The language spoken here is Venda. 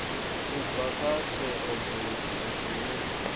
u bva kha theomveledziso dzine